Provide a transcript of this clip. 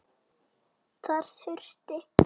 Þar þurfti